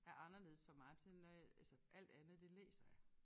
Er anderledes for mig på sådan når jeg altså alt andet det læser jeg